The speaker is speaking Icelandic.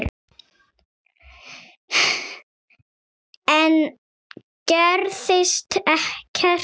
Enn gerðist ekkert.